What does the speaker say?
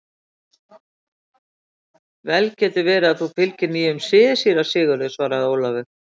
Vel getur verið að þú fylgir nýjum sið, síra Sigurður, svaraði Ólafur.